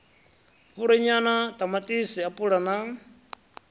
fhuri nyala ṱamaṱisi apula na